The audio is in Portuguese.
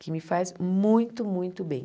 Que me faz muito, muito bem.